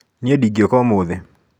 Niĩ ndingĩũka ũmũthĩ.